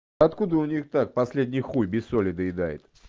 откуда у них так последний хуй без соли доедают